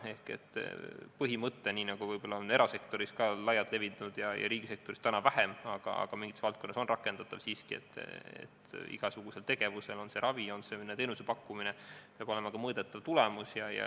See põhimõte on erasektoris laialt levinud, riigisektoris täna vähem, aga mingites valdkondades on see siiski rakendatav, et igasugusel tegevusel, on see ravi või on see mõne teenuse pakkumine, peab olema ka mõõdetav tulemus.